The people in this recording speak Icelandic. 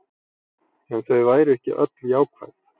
En þau væru ekki öll jákvæð